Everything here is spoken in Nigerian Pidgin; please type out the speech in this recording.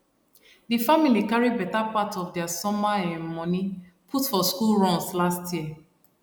di family carry better part of dia summer um moni put for school runs last year